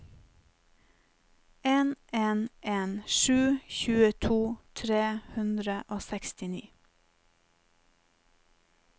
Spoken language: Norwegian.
en en en sju tjueto tre hundre og sekstini